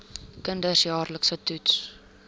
kinders jaarliks getoets